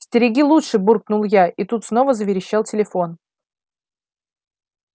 стереги лучше буркнул я и тут снова заверещал телефон